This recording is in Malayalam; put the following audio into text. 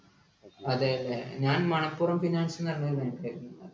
അതേ അല്ലെ ഞാൻ മണപ്പുറം finance ന്നു പറഞ്ഞൊര് bank ആയിരുന്നു